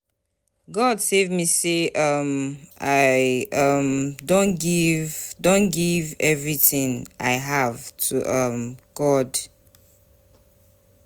God save me say um I um don give don give everything wey I have to um God